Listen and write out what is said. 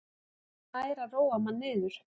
Hann nær að róa mann niður